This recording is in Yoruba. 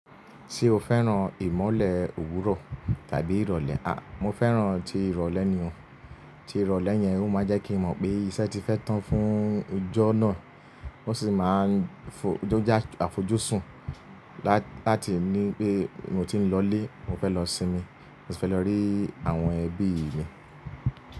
Ṣé o fẹ́ràn ìmọ̀lẹ̀ òwúrọ̀ tàbí ìrọ̀lẹ́? A, mo fẹ́ràn ti ìrọ̀lẹ́ nì o. Ti ìrọ̀lẹ́ yẹn, ó máa n jẹ́ kí mo mọ̀ pé iṣẹ́ ti fẹ́ tán fún ijọ́ náà, ó sì máa ń fo jọ́ já àfojúsùn láti ní pé mo ti n lọlé, mo fẹ́ lọ sinmi, mo su fẹ́ lọ rí àwọn ẹbí mi.